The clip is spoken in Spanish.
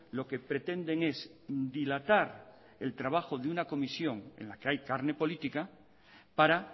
lo que pretenden es dilatar el trabajo de un comisión en la que hay carne política para